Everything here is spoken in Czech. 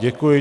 Děkuji.